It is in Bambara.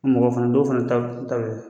Mɔgɔ fana dɔw fana ta b ta be